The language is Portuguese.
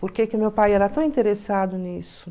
Por que que meu pai era tão interessado nisso?